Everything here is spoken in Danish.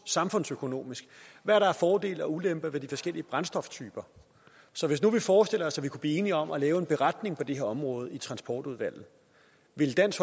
samfundsøkonomisk er af fordele og ulemper ved de forskellige brændstoftyper så hvis nu vi forestiller os at vi kunne blive enige om at lave en beretning på det her område i transportudvalget ville dansk